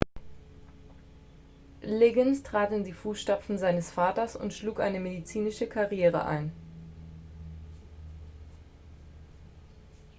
liggins trat in die fußstapfen seines vaters und schlug eine medizinische karriere ein